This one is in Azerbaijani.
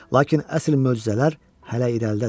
Lakin əsl möcüzələr hələ irəlidədir.